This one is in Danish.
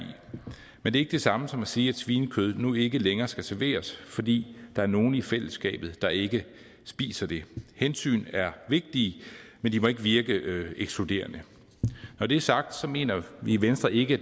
men det er ikke det samme som at sige at svinekød nu ikke længere skal serveres fordi der er nogle i fællesskabet der ikke spiser det hensyn er vigtige men de må ikke virke ekskluderende når det er sagt mener vi i venstre ikke at